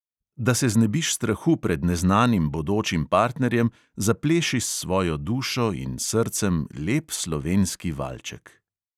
Da se znebiš strahu pred neznanim bodočim partnerjem, zapleši s svojo dušo in srcem lep slovenski valček.